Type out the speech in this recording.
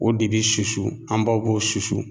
O de be susu an baw b'o susu